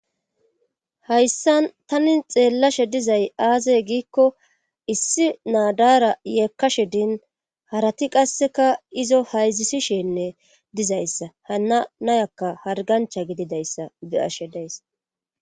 hayssan tani xeellashe dizay aazey giikko issi naadaara yeekkashe din harati qasseka izo hayzisishinne dizayssa hana nayakka hargancha gididayssa beashe days